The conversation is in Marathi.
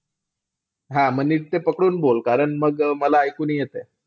हा. ते नीट ते पकडून बोल, कारण मला ऐकू नाही येत आहे.